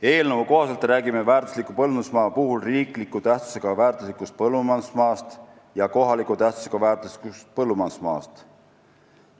Eelnõu kohaselt räägime väärtusliku põllumajandusmaa puhul riikliku tähtsusega väärtuslikust põllumajandusmaast ja kohaliku tähtsusega väärtuslikust põllumajandusmaast.